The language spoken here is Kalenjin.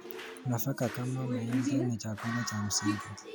Nafaka kama mahindi ni chakula cha msingi.